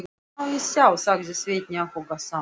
Má ég sjá, sagði Svenni áhugasamur.